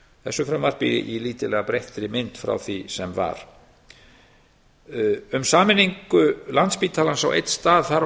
þessu frumvarpi í lítillega breyttri mynd frá því sem var um sameiningu landspítalans á einn stað þarf